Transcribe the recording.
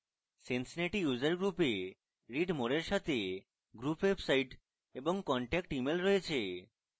cincinnati user group the read more এর সাথে group website এবং contact email রয়েছে